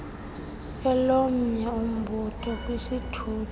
kwelomnye umbutho kwisithuthi